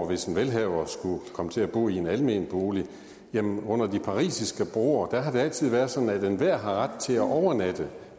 hvis en velhaver skulle komme til at bo i en almen bolig jamen under de parisiske broer har det altid været sådan at enhver har ret til at overnatte